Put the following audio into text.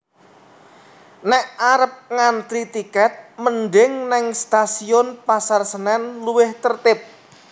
Nek arep ngantri tiket mending ning Stasiun Pasar Senen luwih tertib